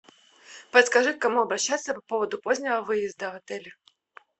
подскажи к кому обращаться по поводу позднего выезда в отеле